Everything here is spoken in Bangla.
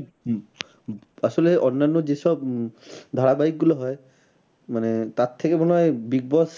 উম আসলে অন্যান্য যে সব উম ধারাবাহিক গুলো হয় মানে তার থেকে মনে হয় big boss